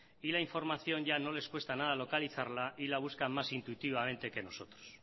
y la información ya no les cuesta nada localizarla y la buscan más intuitivamente que nosotros